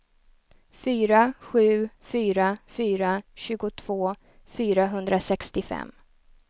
fyra sju fyra fyra tjugotvå fyrahundrasextiofem